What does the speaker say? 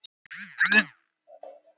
Hann hélt því fram að